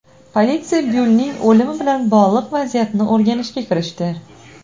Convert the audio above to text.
Politsiya Byulning o‘limi bilan bog‘liq vaziyatni o‘rganishga kirishdi.